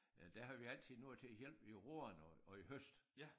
Øh der havde vi altid nogen til at hjælpe i roerne og og i høst